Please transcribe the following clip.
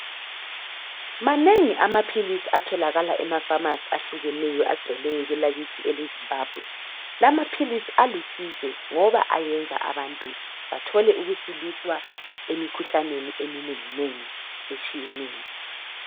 manengi amaphilisi atholakala ema phamarcy ahlukeneyo agcwele kwelakithi ele Zimbabwe lamaphisi alusizo ngoba ayenza abantu bathole ukusiliswa emikhuhlaneni eminenginengi etshiyeneyo